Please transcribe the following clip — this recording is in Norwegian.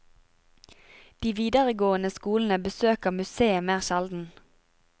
De videregående skolene besøker museet mer sjelden.